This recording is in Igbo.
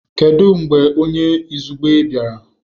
Kedu mgbe onye izugbe bịara?